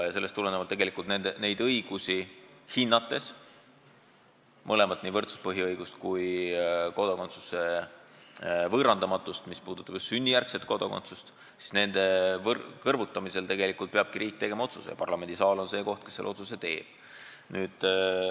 Ja sellest tulenevalt neid õigusi kõrvutades – võrdsuse põhiõigust ja kodakondsuse võõrandamatust just sünnijärgse kodakondsuse korral – peabki riik tegema otsuse ja parlamendisaal on see koht, kus see otsus tehakse.